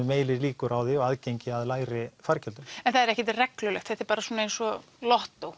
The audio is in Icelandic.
meiri líkur á því og aðgengi að lægri fargjöldum en það er ekkert reglulegt þetta er bara svona eins og